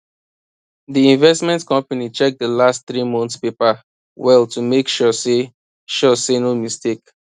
d investment company check d last three month paper well to make sure say sure say no mistake